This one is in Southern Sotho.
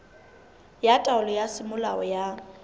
ya taelo ya semolao ya